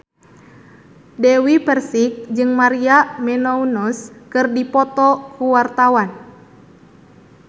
Dewi Persik jeung Maria Menounos keur dipoto ku wartawan